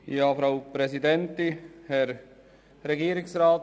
Ich staune wieder einmal.